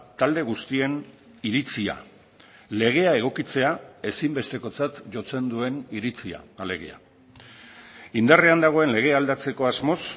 talde guztien iritzia legea egokitzea ezinbestekotzat jotzen duen iritzia alegia indarrean dagoen legea aldatzeko asmoz